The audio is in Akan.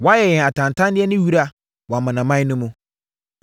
Woayɛ yɛn atantanneɛ ne wira wɔ amanaman no mu.